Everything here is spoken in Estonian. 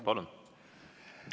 Palun!